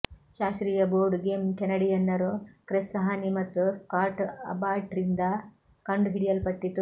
ಶಾಸ್ತ್ರೀಯ board game ಕೆನಡಿಯನ್ನರು Chris Haney ಮತ್ತು ಸ್ಕಾಟ್ ಅಬಾಟ್ರಿಂದ ಕಂಡುಹಿಡಿಯಲ್ಪಟ್ಟಿತು